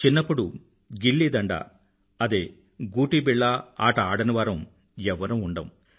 చిన్నప్పుడు గిల్లీ డండాగూటీబిళ్ళ ఆట ఆడనివారం ఎవ్వరం ఉండము